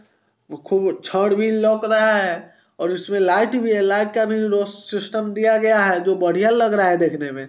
कोई चादवहील लग रहा हैं| और उसमे लाइट भी हैं| लाइट का भी रो सिस्टम दिया गया हैं जो बढ़िया लग रहा हैं देखने मैं।